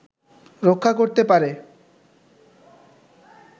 রক্ষা করতে পারে